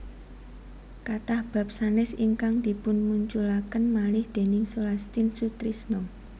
Kathah bab sanès ingkang dipunmunculaken malih déning Sulastin Sutrisno